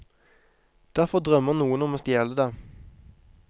Derfor drømmer noen om å stjele det.